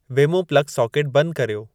वेमो plug socket बंदि कर्यो